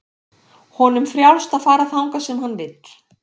Honum frjálst að fara þangað sem hann vill.